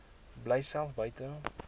bly self buite